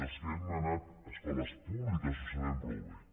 els que hem anat a escoles públiques ho sabem prou bé